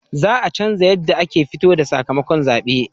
Za a canja yanda ake fito da sakamakon zabe